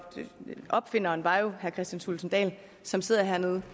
opfinderen var jo herre kristian thulesen dahl som sidder hernede